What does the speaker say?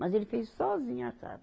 Mas ele fez sozinho a casa.